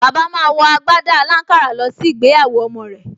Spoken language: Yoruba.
Bàbá máa wọ agbádá aláǹkárá lọ sí ìgbéyàwó ọmọ rẹ̀